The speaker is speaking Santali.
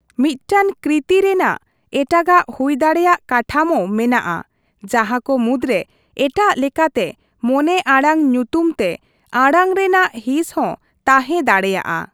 ᱢᱤᱫᱴᱟᱝ ᱠᱨᱤᱛᱤ ᱨᱮᱱᱟᱜ ᱮᱴᱟᱜᱟᱜ ᱦᱩᱭᱫᱟᱲᱮᱭᱟᱜ ᱠᱟᱴᱷᱟᱢᱳ ᱢᱮᱱᱟᱜᱼᱟ, ᱡᱟᱦᱟ ᱠᱚ ᱢᱩᱫᱽᱨᱮ ᱮᱴᱟᱜ ᱞᱮᱠᱟᱛᱮ ᱢᱚᱱᱮᱼᱟᱲᱟᱝ ᱧᱩᱛᱩᱢ ᱛᱮ ᱟᱲᱟᱝ ᱨᱮᱱᱟᱜ ᱦᱤᱸᱥ ᱦᱚᱸ ᱛᱟᱸᱦᱮ ᱫᱟᱲᱮᱭᱟᱜᱼᱟ ᱾